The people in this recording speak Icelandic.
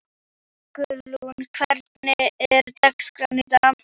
Sigurlín, hvernig er dagskráin í dag?